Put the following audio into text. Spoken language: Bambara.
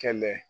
Kɛlɛ